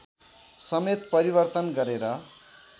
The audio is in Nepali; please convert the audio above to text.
समेत परिवर्तन गरेर